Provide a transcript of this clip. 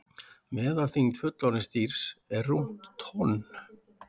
Meðalþyngd fullorðins dýrs er rúmt tonn.